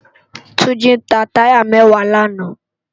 Tunji tá tàyá mèwá làná